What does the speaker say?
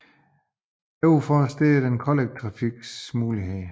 Overfor står den kollektive trafiks muligheder